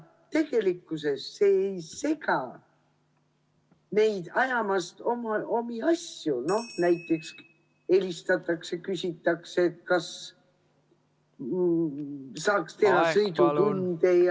Lähikontaktne olemine ei sega neid ajamast omi asju, näiteks helistatakse ja küsitakse, kas saaks teha sõidutunde ja ...